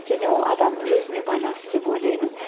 және ол адамның өзіне байланысты деп ойлаймын